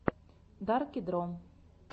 дарки дро